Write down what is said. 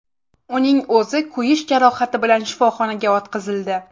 Uning o‘zi kuyish jarohati bilan shifoxonaga yotqizildi.